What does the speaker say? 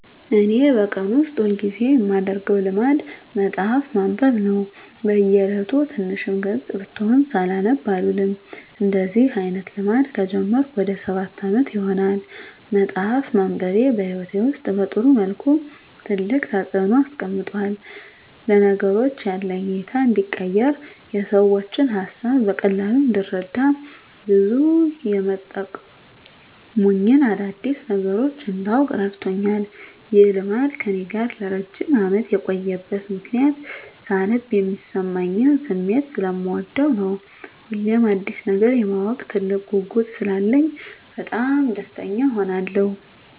እኔ በቀን ውስጥ ሁል ጊዜ የማደረገው ልማድ መጽሀፍ ማንበብ ነው። በ እየለቱ ትንሽም ገፅ ብትሆን ሳላነብ አልውልም። እንደዚህ አይነት ልማድ ከጀመርኩ ወደ ሰባት አመት ይሆናል። መፅሃፍ ማንበቤ በህይወቴ ውስጥ በጥሩ መልኩ ትልቅ ተፅዕኖ አምጥቷል። ለነገሮች ያለኝ እይታ እንዲቀየር፣ የሰዎችን ሀሳብ በቀላሉ እንድረዳ፣ ብዙ የመጠቅሙኝን አዳዲስ ነገሮች እንዳውቅ እረድቶኛል። ይህ ልማድ ከእኔ ጋር ለረጅም አመት የቆየበት ምክንያትም ሳነብ የሚሰማኝን ስሜት ሰለምወደው ነው። ሁሌም አዲስ ነገር የማወቅ ትልቅ ጉጉት ስላለኝ በጣም ደስተኛ እሆናለሁ።